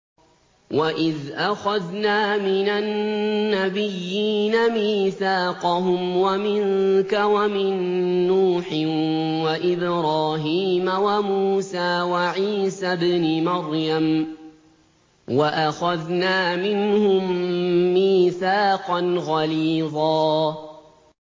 وَإِذْ أَخَذْنَا مِنَ النَّبِيِّينَ مِيثَاقَهُمْ وَمِنكَ وَمِن نُّوحٍ وَإِبْرَاهِيمَ وَمُوسَىٰ وَعِيسَى ابْنِ مَرْيَمَ ۖ وَأَخَذْنَا مِنْهُم مِّيثَاقًا غَلِيظًا